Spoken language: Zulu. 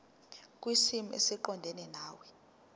kwisimo esiqondena nawe